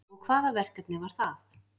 Og hvaða verkefni var það